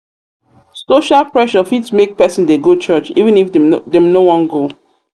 social pressure fit make person dey go church even if dem no wan go.